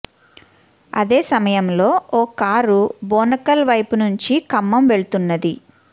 అదే సమయంలో ఓ కారు బోనకల్ వైపు నుంచి ఖమ్మం వెళుతున్నది